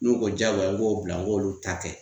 N'u ko jagoya n k'o bila n k'olu ta kɛ